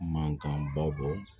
Mankanbaw kɔ